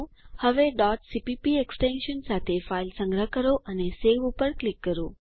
હવે cpp extension સાથે file સંગ્રહ કરો અને સવે ઉપર ક્લિક કરો